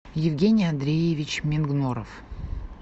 евгений андреевич мингноров